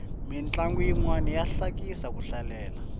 mintlangu yinwani ya hlekisa ku hlalela